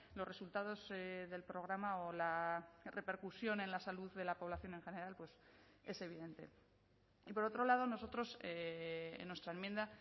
los resultados del programa o la repercusión en la salud de la población en general pues es evidente y por otro lado nosotros en nuestra enmienda